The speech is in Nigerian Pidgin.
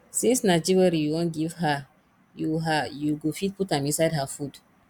since na jewelry you wan give her you her you go fit put am inside her food